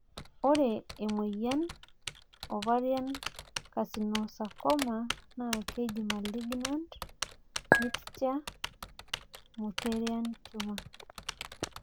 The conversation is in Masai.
ore emoyian Ovarian carcinosarcoma naa keji malignant mixed mullerian tumor